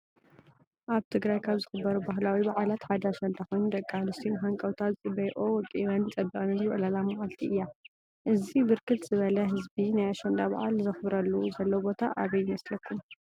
አብ ትግራይ ካበ ዝክበሩ ባህላዊ በዓላት ሓደ አሽንዳ ኮይኑ ደቂ አንስትዮ ብሃነቀውታ ዝፅበየኦ ወቂበንን ፀቢቀንን ዝውዕላላ መዓልቲ እያ። እዚ ብርክት ዝብለ ህዝቢ ናይ አሸንዳ በዓል ዝክበረሉ ዘሎ ቦታ አበይ ይምስልኩም ?